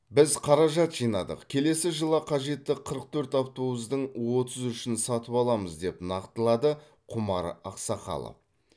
біз қаражат жинадық келесі жылы қажетті қырық төрт автобустың отыз үшін сатып аламыз деп нақтылады құмар ақсақалов